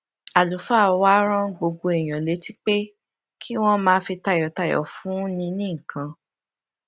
àlùfáà wa rán gbogbo èèyàn létí pé kí wón máa fi tayòtayò fúnni ní nǹkan